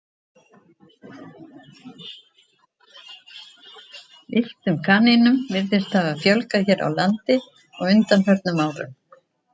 Villtum kanínum virðist hafa fjölgað hér á landi á undanförnum árum.